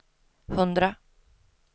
hundra